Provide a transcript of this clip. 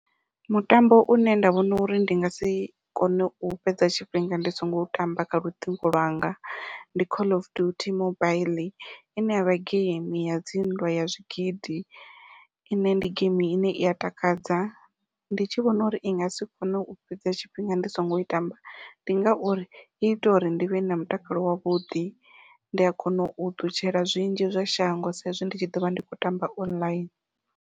Mutambo une nda vhona uri ndi nga si kone u fhedza tshifhinga ndi songo u tamba kha luṱingo lwanga, ndi call of duty mobaiḽi ine yavha geimi ya dzi nndwa ya zwigidi ine ndi geimi ine ia takadza ndi tshi vhona uri ndi nga si kone u fhedza tshifhinga ndi songo i tamba ndi ngauri i ita uri ndi vhe na mutakalo wavhuḓi ndi a kona u ṱutshela zwinzhi zwa shango sa izwi ndi tshi ḓovha ndi khou tamba online.